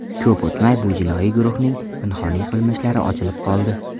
Ko‘p o‘tmay, bu jinoiy guruhning pinhoniy qilmishlari ochilib qoldi.